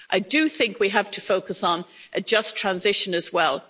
I do think we have to focus on a just transition as well.